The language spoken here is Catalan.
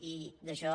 i d’això